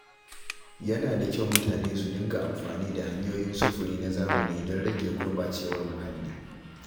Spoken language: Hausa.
Yana da kyau mutane su dinga amfani da hanyoyin sufuri na zamani don rage gurɓacewar muhalli.